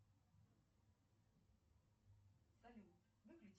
джой ассистент сделай пожалуйста